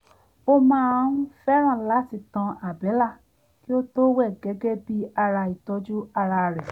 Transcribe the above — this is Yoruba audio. ó máa ń ń fẹ́ràn láti tan àbẹ́là kí ó tó wẹ̀ gẹ́gẹ́ bí ara ìtọ́jú ara rẹ̀